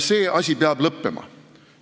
See asi peab lõppema!